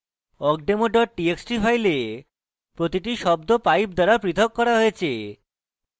awkdemo dot txt file প্রতিটি শব্দ pipe দ্বারা প্রথক করা হয়েছে